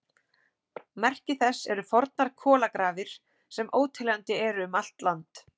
Merki þess eru fornar kolagrafir, sem óteljandi eru um allt land.